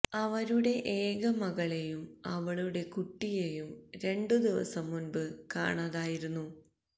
അവരുടെ ഏക മകളെയും അവളുടെ കുട്ടിയെയും രണ്ടു ദിവസം മുൻപ് കാണാതായിരുന്നു